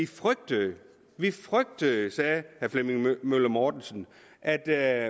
frygtede vi frygtede sagde herre flemming møller mortensen at der